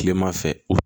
Kilema fɛ